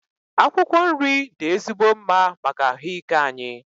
Akwụkwọ nri dị ezigbo mma maka ahụ ike anyị.